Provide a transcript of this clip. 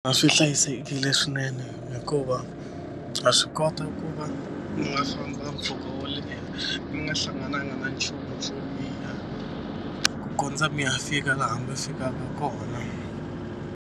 A swi hlayisekile swinene hikuva ha swi kota ku va mi nga famba mpfhuka wo leha mi nga hlangananga na nchumu swo biha ku kondza mi ya fika laha mi fikaka kona.